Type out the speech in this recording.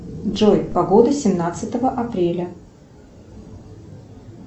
джой погода семнадцатого апреля